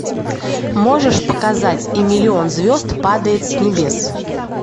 можешь показать и миллион звезд падает с небес